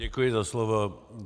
Děkuji za slovo.